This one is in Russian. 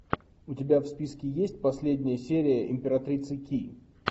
у тебя в списке есть последняя серия императрицы ки